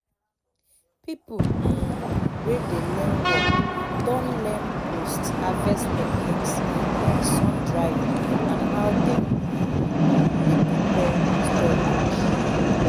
people um wey dey learn work don learn post harvest techniques like sun drying and how dem um dey prepare storage